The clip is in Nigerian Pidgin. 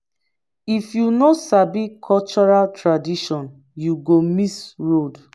if you no sabi cultural tradition you go miss road